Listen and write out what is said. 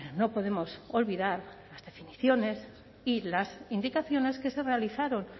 no podemos olvidar las definiciones y las indicaciones que se realizaron